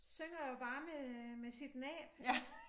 Synger jo bare med med sit næb øh